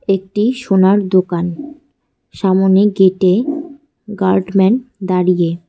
একটি সোনার দোকান সামোনে গেটে গার্ডম্যান দাঁড়িয়ে।